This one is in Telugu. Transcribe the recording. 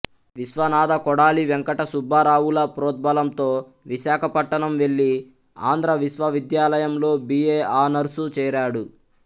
విశ్వనాథ కొడాలి వెంకట సుబ్బారావుల ప్రోద్బలంతో విశాఖపట్టణం వెళ్లి ఆంధ్ర విశ్వవిద్యాలయంలో బి ఏ ఆనర్సు చేరాడు